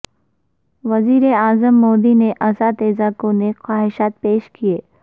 وزیراعظم مودی نے اساتذہ کو نیک خواہشات پیش کیں